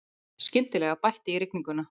Skyndilega bætti í rigninguna.